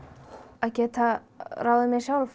að geta ráðið mér sjálf